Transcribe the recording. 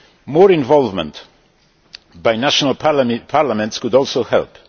More involvement by national parliaments could also help.